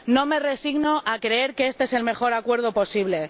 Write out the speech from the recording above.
No me resigno a creer que este es el mejor acuerdo posible.